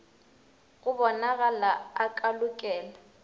go bonalago a ka lokela